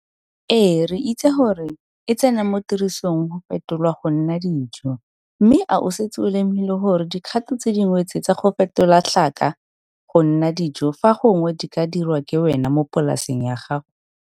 EE, RE ITSE GORE E TSENA MO TIRISONG GO FETOLWA GO NNA DIJO, MME A O SETSE O LEMOGILE GORE DIKGATO TSE DINGWE TSE TSA GO FETOLA TLHAKA GO NNA DIJO FA GONGWE DI KA DIRWA KE WENA MO POLASENG YA GAGO?